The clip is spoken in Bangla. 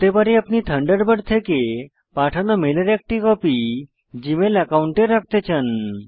হতে পারে আপনি থান্ডারবার্ড থেকে পাঠানো মেলের একটি কপি জীমেল একাউন্টে রাখতে চান